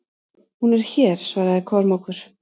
Hún er hér, svaraði Kormákur.